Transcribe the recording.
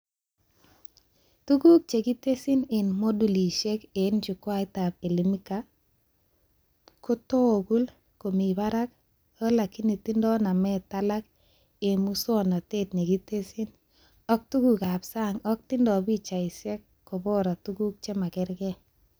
Tuguk chekitesyi eng modulishek eng chukwaitab Elimika kotogul komi barak alakini tindoi namet alak eng muswonotet nekitesyi ak tugukab sang ak tindoi pichaishek kobora tuguk chemakerke